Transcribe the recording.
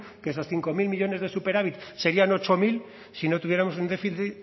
que esos cinco mil millónes de superávit serían ocho mil si no tuviéramos